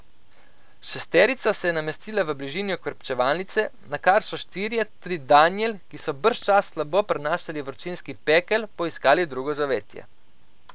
Šesterica se je namestila v bližini okrepčevalnice, nakar so štirje, tudi Danijel, ki so bržčas slabo prenašali vročinski pekel, poiskali drugo zavetje.